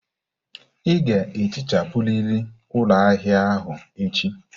Ị ga-ehichapụrịrị ụlọ ahịa ahụ echi!